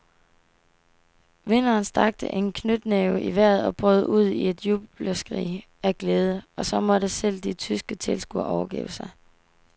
Vinderen strakte en knytnæve i vejret og brød ud i et jubelskrig af glæde, og så måtte selv de tyske tilskuere overgive sig.